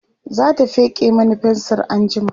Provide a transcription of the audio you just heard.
zata feke Mani fensir anjima